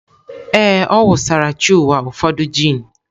Ee, ọ wụsara chi ụwa ụfọdụ gin.